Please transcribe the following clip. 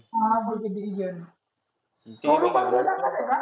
हा बरं ठिक आहे. छोटु पण येणार करे?